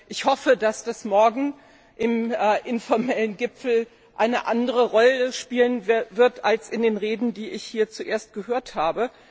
Ich hoffe, dass das morgen auf dem informellen Gipfel eine andere Rolle spielen wird als in den Reden, die ich hier zuerst gehört habe.